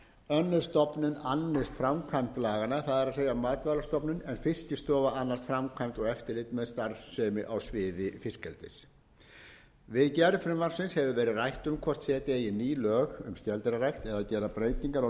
önnur stofnun annist framkvæmd laganna það er matvælastofnun en fiskistofa annast framkvæmd og eftirlit með starfsemi á sviði fiskeldis við gerð frumvarpsins hefur verið rætt um hvort setja eigi ný lög um skeldýrarækt eða gera breytingar á